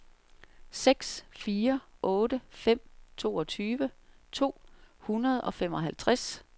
seks fire otte fem toogtyve to hundrede og femoghalvtreds